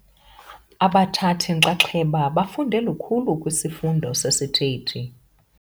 Abathathi-nxaxheba bafunde lukhulu kwisifundo sesithethi.